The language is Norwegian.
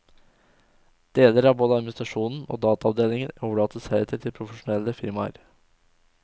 Deler av både administrasjonen og dataavdelingen overlates heretter til profesjonelle firmaer.